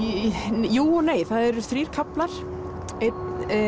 jú og nei það eru þrír kaflar einn